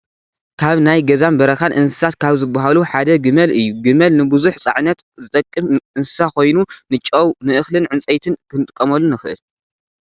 ካብ ናይ ገዛን በረኻን እንስሳታት ካብ ዝባሃሉ ሓደ ግመል እዩ፡፡ ግመል ንቡዙሕ ፃዕነት ዝጠቅም እንስሳ ኮይኑ ንጨው፣ ንእኽሊን ዕንጨይትን ክንጥቀመሉ ንኸእል፡፡